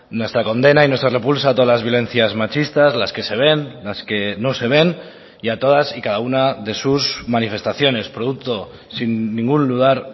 nuestra condena y nuestra repulsa a todas las violencias machistas las que se ven las que no se ven y a todas y cada una de sus manifestaciones producto sin ningún lugar